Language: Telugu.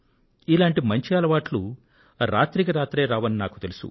ఇలాంటి మంచి అలవాట్లు రాత్రికి రాత్రే రావని నాకు తెలుసు